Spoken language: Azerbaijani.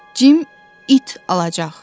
Cim it alacaq.